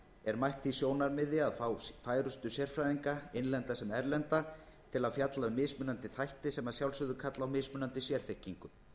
er mætt því sjónarmiði að fá færustu sérfræðinga innlenda sem erlenda til að fjalla um mismunandi þætti sem að sjálfsögðu kalla á mismunandi sérþekkingu